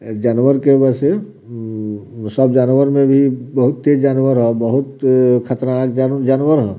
एक जानवर के वैसे ममम सब जानवर में भी बहुत तेज जानवर ह बहुत अअ खतरनाक जान जानवर ह।